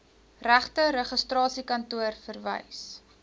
regte registrasiekantoor verwys